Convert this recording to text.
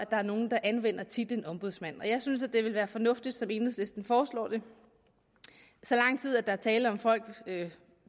der er nogle der anvender titlen ombudsmand og jeg synes at det vil være fornuftigt sådan som enhedslisten foreslår det så lang tid der er tale om folk